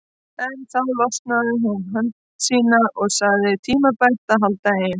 En þá losaði hún hönd sína og sagði tímabært að halda heim.